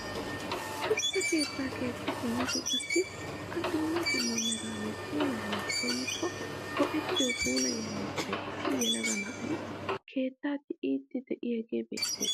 Shuchchaa keettaa keexxi simmmidi qassi a dumma dumma meran puulayanawu koyikko go"ettiyoo puulayiyaa miishshan issi yelaga na'ay keettaa tiyiiddi de'iyaagee beettees!